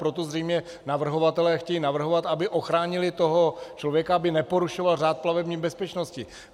Proto zřejmě navrhovatelé chtějí navrhovat, aby ochránili toho člověka, aby neporušoval řád plavební bezpečnosti.